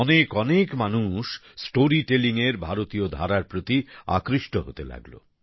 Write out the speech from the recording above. বেশিবেশি মানুষ স্টোরি টেলিংএর ভারতীয় ধারা প্রতি আকৃষ্ট হতে লাগল